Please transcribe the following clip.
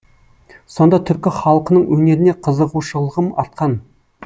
сонда түркі халқының өнеріне қызығушылығым артқан